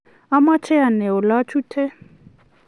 amache anai ole achute